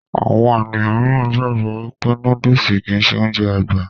Àwọn ènìyàn míìràn gbàgbọ́ wípé nóódùsì kìí ṣe Ounjẹ àgbà